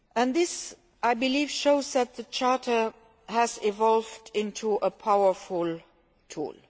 This, I believe, shows that the Charter has evolved into a powerful tool.